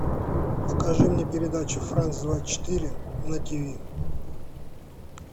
покажи мне передачу франс двадцать четыре на ти ви